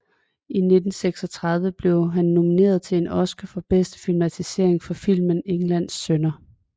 I 1936 blev han nomineret til en Oscar for bedste filmatisering for filmen Englands sønner